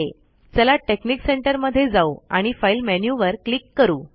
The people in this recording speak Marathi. चला टेकनिक सेंटर मध्ये जाऊ आणि फाइल मेन्यु वर क्लिक करू